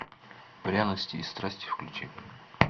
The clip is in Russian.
пряности и страсти включи